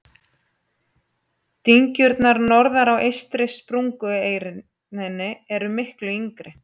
Dyngjurnar norðar á eystri sprungureininni eru miklu yngri.